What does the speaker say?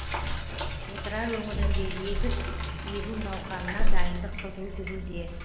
отырар өңірінде егіс егу науқанына дайындық қызу жүруде